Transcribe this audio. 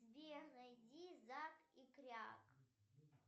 сбер найди зак и кряк